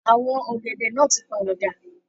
Àwọn ọ̀gẹ̀dẹ̀ náà tí pàwọ̀ dà.